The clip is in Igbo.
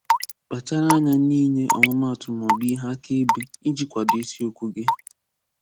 Kpachara anya n'inye ọmụmatụ maọbụ ihe akaebe iji kwado isiokwu gị